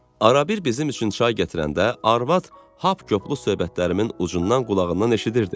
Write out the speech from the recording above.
Arabir bizim üçün çay gətirəndə arvad hap-koplü söhbətlərimin ucundan qulağından eşidirdi.